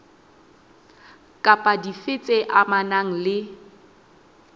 kapa dife tse amanang le